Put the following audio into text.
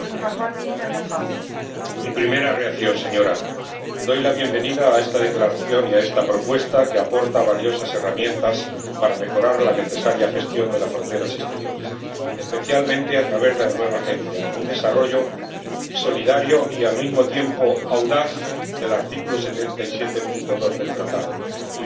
Señora Presidenta, mi primera reacción es dar la bienvenida a esta declaración y a esta propuesta que aporta valiosas herramientas para mejorar la necesaria gestión de las fronteras exteriores, especialmente a través de la nueva agencia —un desarrollo solidario y al mismo tiempo audaz del artículo 77, apartado 2, del Tratado de Funcionamiento de la Unión Europea—.